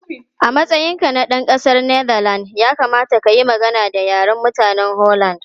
A matsayinka na ɗan ƙasar Netherlands, ya kamata ka yi magana da Yaren mutanen Holland.